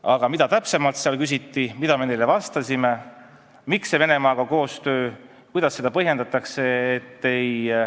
Aga mida täpsemalt küsiti, mida me vastasime ja kuidas põhjendatakse seda, et koostöö Venemaaga oli null?